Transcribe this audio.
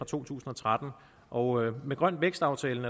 to tusind og tretten og med grøn vækst aftalen